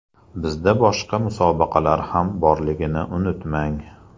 Bizda boshqa musobaqalar ham borligini unutmang!